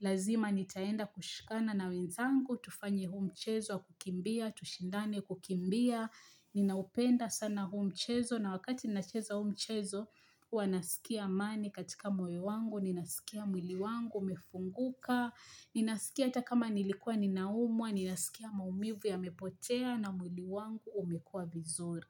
lazima nitaenda kushikana na wenzangu, tufanye huu mchezo wa kukimbia, tushindane kukimbia. Ninaupenda sana huu mchezo na wakati ninacheza huu mchezo Huwa nasikia amani katika moyo wangu Ninasikia mwili wangu umefunguka Ninasikia hata kama nilikua ninaumwa Ninasikia maumivu yamepotea na mwili wangu umekua vizuri.